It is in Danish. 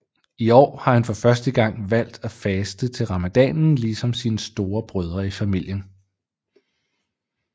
I år har han for første gang valgt at faste til ramadanen ligesom sine store brødre i familien